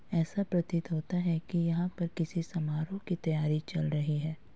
ऐसा प्रतीत होता है कि यहाँ पे किसी समारोह की तैयारी चल रही है।